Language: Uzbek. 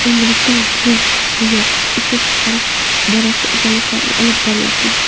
Endilikda lok-bo‘yoq ishlab chiqarish borasida izlanishlar olib boryapmiz”.